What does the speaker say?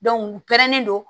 u pɛrɛnnen don